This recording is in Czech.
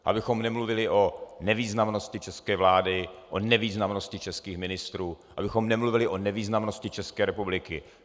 Abychom nemluvili o nevýznamnosti české vlády, o nevýznamnosti českých ministrů, abychom nemluvili o nevýznamnosti České republiky.